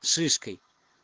шишкой